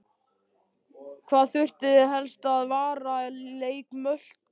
Hvað þurfið þið helst að varast í leik Möltu?